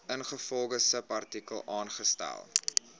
ingevolge subartikel aangestel